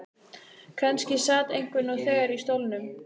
Kannski sat einhver nú þegar í stólnum.